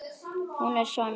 Hún er svona: